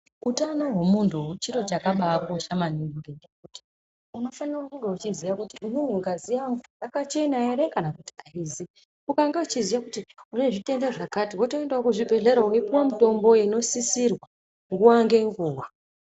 Utano hwemuntu chiro chakabakosha maningi unofanire kunge uchiziya kuti ngazi yangu yakachena ere, kana kuti haizi ukange uchiziya kuti une zvitenda zvakati votoendavo kuzvibhedhlera vopuva mutombo ungosisirwa nguva ngenguva.